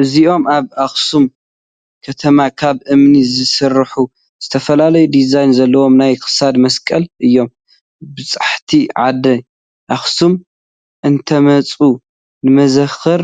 እዞኦም ኣብ ኣኽሱም ከተማ ካብ እምኒ ዝስርሑ ዝተፈላለየ ዲዛይን ዘለዎ ናይ ክሳድ መሳቕል እዮም፡፡ በፃሕቲ ዓዲ ኣኽሱም እንትመፁ ንመዘክር